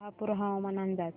शहापूर हवामान अंदाज